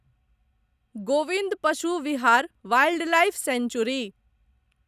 Govind Pashu Vihar wildlife century